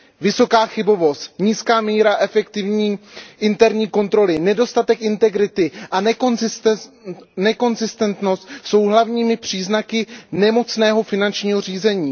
Vysoká chybovost, nízká míra efektivní interní kontroly, nedostatek integrity a nekonzistentnost jsou hlavními příznaky nemocného finančního řízení.